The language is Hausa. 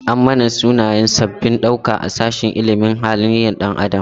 An manna sunayen sabbabin ɗauka a sashin ilimin halin ɗan adam.